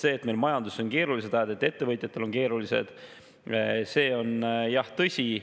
See, et meil majanduses on keerulised ajad, et ettevõtjatel on keerulised ajad, on jah tõsi.